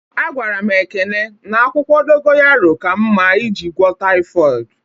A gwara m Ekene na akwụkwọ dogoyanro ka mma eji gwo taịfodu